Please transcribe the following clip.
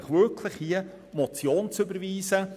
Ich bitte Sie, die Motion zu überweisen.